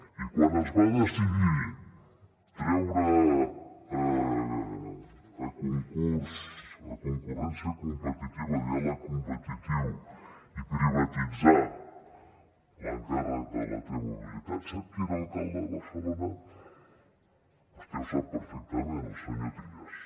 i quan es va decidir treure a concurs a concurrència competitiva a diàleg competitiu i privatitzar l’encàrrec de la t mobilitat sap qui era alcalde de barcelona vostè ho sap perfectament el senyor trias